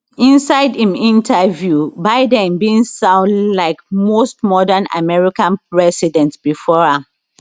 inside im interview biden bin sound like most modern american presidents bifor am